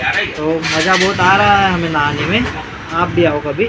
मजा बहुत आ रहा है हमें नहाने में आप भी आओ कभी ।